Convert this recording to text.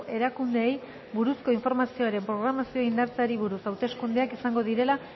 erakundeei buruzko informazioaren programazioa indartzeari buruz hauteskundeak izango direla